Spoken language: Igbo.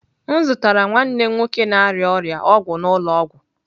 M zụtara nwanne m nwoke na-arịa ọrịa ọgwụ n'ụlọ ọgwụ.